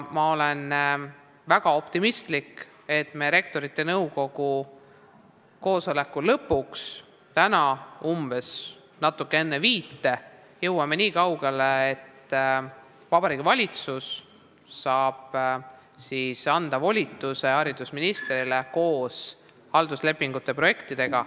Ma olen väga optimistlik ja usun, et me täna Rektorite Nõukogu koosoleku lõpuks, natuke enne kella viite jõuame nii kaugele, et Vabariigi Valitsus saab homsel valitsuse istungil anda volituse haridusministrile, kes sinna tuleb halduslepingute projektidega.